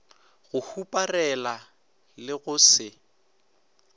go huparela le go se